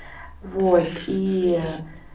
вот и